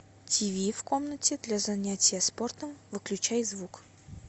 тиви в комнате для занятия спортом выключай звук